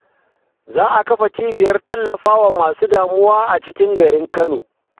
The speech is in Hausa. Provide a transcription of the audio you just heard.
Za a kafa cibiyar tallafawa masu damuwa a cikin garin Kano.